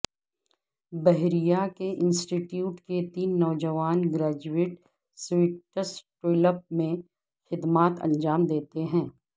بحریہ کے institute کے تین نوجوان گریجویٹ سویٹسٹولپ میں خدمات انجام دیتے ہیں